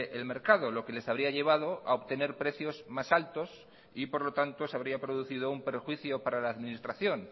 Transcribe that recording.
el mercado lo que les habría llevado a obtener precios más altos y por lo tanto se habría producido un perjuicio para la administración